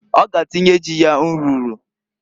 Ọ g'atinye ji ya nrụrụ.